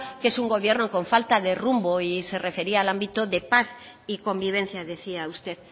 que es un gobierno con falta de rumbo y se refería al ámbito de paz y convivencia decía usted